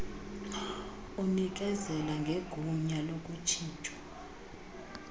unikezela ngegunya lokutshintshwa